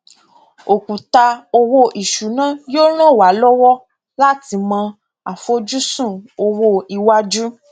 òkùtà owó ìṣúná yóò ràn wá lọwọ láti mọ àfojúsùn owó iwájú